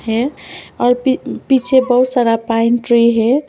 है और पी पीछे बहुत सारा पाइन ट्री है।